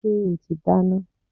Ṣé o ti dáná?